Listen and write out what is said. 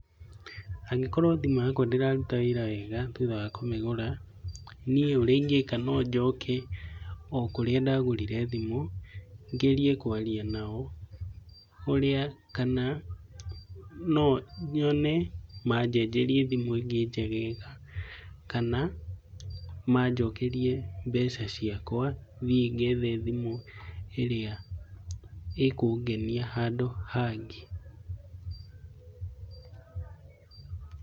Angĩkorwo thimũ yakwa ndĩraruta wĩra wega thutha wa kũmĩgũra, niĩ ũrĩa ingĩka no njoke kũrĩa ndagũrire thimũ, ngerie kwaria nao kana nonyone majenjerie thimũ ĩngĩ njegega , kana majokerie mbeca ciakwa thiĩ ngethe thimũ ĩrĩa ĩkũngenia handũ hangĩ.